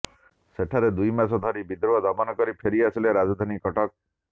ସେଠାରେ ଦୁଇ ମାସ ପରେ ବିଦ୍ରୋହ ଦମନ କରି ଫେରିଆସିଲେ ରାଜଧାନୀ କଟକ